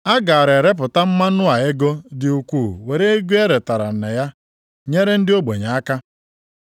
A gaara erepụta mmanụ a ego dị ukwuu were ego e retara ya nyere ndị ogbenye aka.”